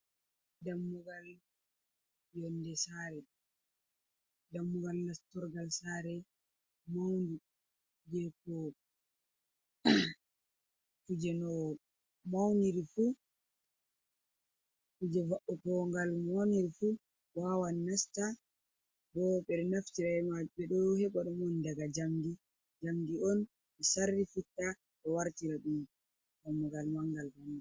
Dammugal yonde sare, dammugal nastorgal sare maundu je ko kuje no mauniri fu kuje vaugo gal no maw iri fu wawan nasta, bo ɓeɗo naftira be majum ɓe ɗo heɓa ɗum om daga jamdi on be sarri fitta, bo wartira ɗum dammugal mangal banga.